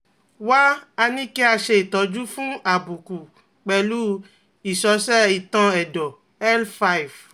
Wá a ní kí a ṣe itọju fún àbùkù pẹ̀lú ìsọ̀sẹ̀ ìtọ́n ẹ̀dọ́ L five